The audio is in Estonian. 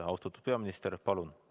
Austatud peaminister, palun!